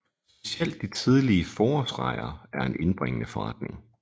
Specielt de tidlige forårsrejer er en indbringende forretning